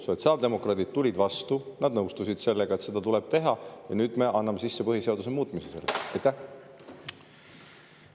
Sotsiaaldemokraadid tulid vastu, nad nõustusid sellega, et seda tuleb teha, ja nüüd me anname sisse põhiseaduse muutmise seaduse.